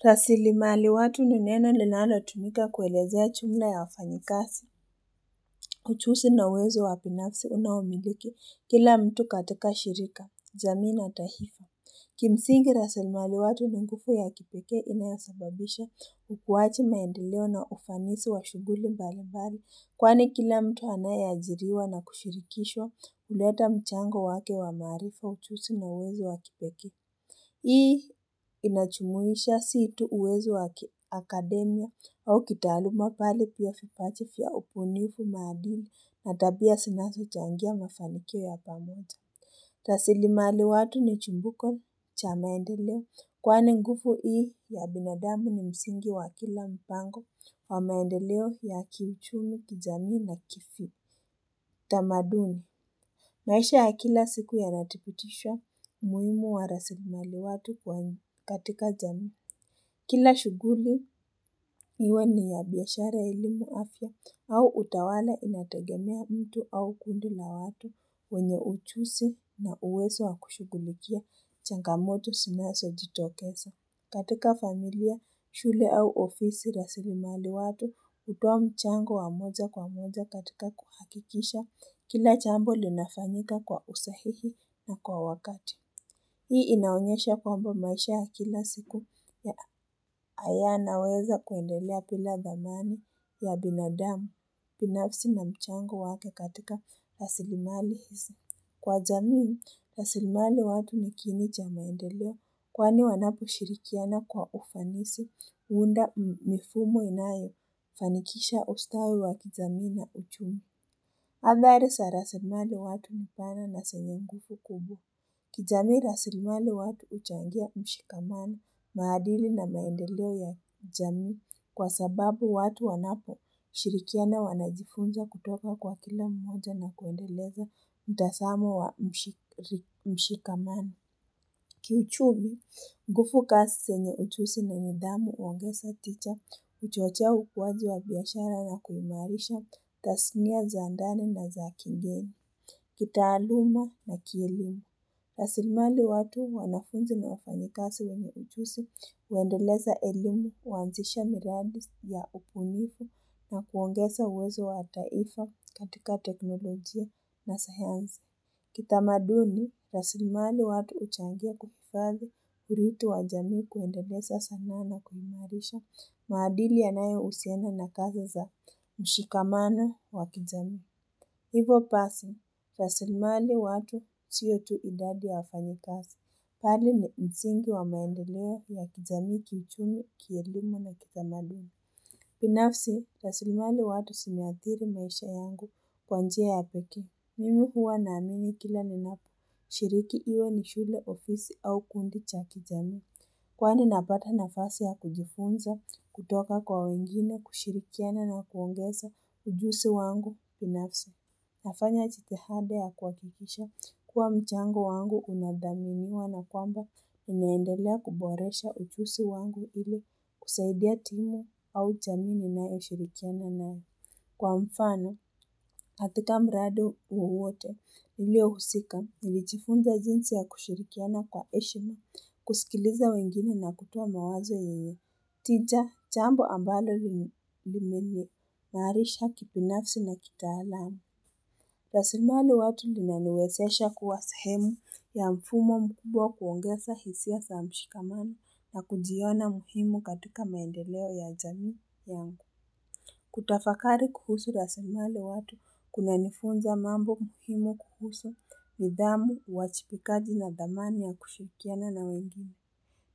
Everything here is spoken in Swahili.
Rasilimali watu ni neno linalotumika kuelezea chumla ya wafanyikasi. Uchusi na uwezo wapinafsi unaomiliki kila mtu katika shirika, jamii na tahifa. Kimsingi rasilimali watu ni ngufu ya kipeke inayasababisha ukuwachi maendeleo na ufanisi wa shuguli mbalimbali. Kwani kila mtu anayeajiriwa na kushirikishwa uleta mchango wake wa maarifa uchusi na uwezo wa kipeke. Hii inachumuisha situ uwezo wakia akademia au kitaluma pale pia fipachi fia upunifu madili natabia sinaso changia mafanikio ya pamoja. Rasilimali watu ni chumbuko cha maendeleo kwani ngufu hii ya binadamu ni msingi wa kila mpango wa maendeleo ya kiIchumi, kijami na kifi. Tamaduni, maisha ya kila siku ya natiputishwa muimu wa rasilimali watu kwa. Katika jami, kila shuguli iwe ni ya biashara elimu afya au utawala inategemea mtu au kundi la watu wenye uchusi na uwezo wa kushugulikia changamoto sinaso jitokesa. Katika familia, shule au ofisi rasilimali watu utoa mchango wa moja kwa moja katika kuhakikisha kila chambo linafanyika kwa usahihi na kwa wakati. Hii inaonyesha kwamba maisha ya kila siku ya ayanaweza kuendelea pila dhamani ya binadamu pinafsi na mchango wake katika rasilimali hizi. Kwa jamii, rasilimaliwatu nikiini cha maendeleo kwani wanapo shirikiana kwa ufanisi huunda mifumo inayo fanikisha ustawi wa kizamii na uchumi. Habari sarasilimali watu nipana na senye nguvu kubwa. Kijamii rasilimali watu uchangia mshikamano, maadili na maendeleo ya jamii kwa sababu watu wanapo shirikiana wanajifunja kutoka kwa kila mmoja na kuendeleza mtasamo wa mshikamani. Kiuchumi, ngufu kasi senye uchusi na nidhamu uongesa ticha, uchochea ukuaji wa biashara na kuimarisha, tasinia za ndani na za kigeni, kitaaluma na kielimu. Rasilmali watu wanafunzi na wafanyikasi wenye ujusi uendeleza elimu, uanzisha miradis ya upunifu na kuongeza uwezo wa taifa katika teknolojia na sayanzi. Kitamaduni, rasilmali watu uchangia kupufali hiritu wa jami kuendeleza sana na kuimarisha maadili yanayo usiana na kazi za mshikamano wa kijami. Hivo pasi, rasilimaliwatu siyo tu idadi ya wafanyikasi. Pali ni mzingi wa maendeleo ya kijami kiuchumi, kielimu na kitamaduni. Pinafsi, rasilmali watu sinuathiri maisha yangu kwa njia ya pekee. Mimi huwa naamini kila ninap. Shiriki iyo ni shule ofisi au kundi cha kijami. Kwani napata nafasi ya kujifunza, kutoka kwa wengine, kushirikiana na kuongeza ujusi wangu. Pinafsi. Nafanya chitihada ya kuhakikisha kuwa mchango wangu unadhaminiwa na kwamba inaendelea kuboresha ujusi wangu ili kusaidia timu au chami ninayoshirikiana nayo. Kwa mfano, katika mradi wowote niliohusika niliichifunza jinsi ya kushirikiana kwa eshima kusikiliza wengine na kutoa mawazo yenye. Tija, chambo ambalo limeniimarisha kipinafsi na kitaalamu. Rasimaliwatu linaniwesesha kuwa sehemu ya mfumo mkubwa kuongeza hisia sa mshikamano na kujiona muhimu katika maendeleo ya jamii yangu. Kutafakari kuhusu rasimaliwatu kuna nifunza mambo muhimu kuhusu nidhamu, wachipikaji na dhamani ya kushirikiana na wengine.